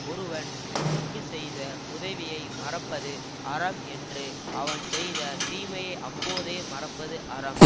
ஒருவன் நமக்கு செய்த உதவியை மறப்பது அறம் என்று அவன் செய்த தீமையை அப்போதே மறப்பது அறம்